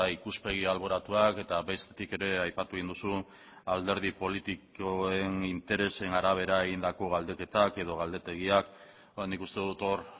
ikuspegi alboratuak eta bestetik ere aipatu egin duzu alderdi politikoen interesen arabera egindako galdeketak edo galdetegiak nik uste dut hor